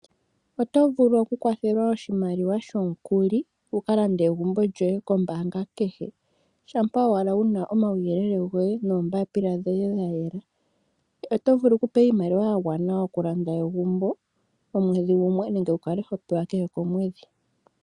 Oto vulu okukwathelwa oshimaliwa shomukuli wukalande egumbo lyoye kombaanga kehe, shampa owala wuna omauyelele goye noombaapila dhoye dhayela. Oto vulu okupewa iimaliwa yagwana okulanda egumbo, omwedhi gumwe nenge wukale hopewa kehe komwedhi.